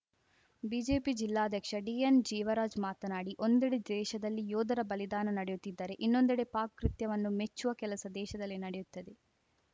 BJP ಜಿಲ್ಲಾಧ್ಯಕ್ಷ D N Jeevaraj ಮಾತನಾಡಿ ಒಂದೆಡೆ ದೇಶದಲ್ಲಿ ಯೋಧರ ಬಲಿದಾನ ನಡೆಯುತ್ತಿದ್ದರೆ ಇನ್ನೊಂದೆಡೆ ಪಾಕ್‌ ಕೃತ್ಯವನ್ನು ಮೆಚ್ಚುವ ಕೆಲಸ ದೇಶದಲ್ಲಿ ನಡೆಯುತ್ತದೆ